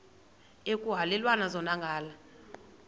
ekuhhalelwana zona ngala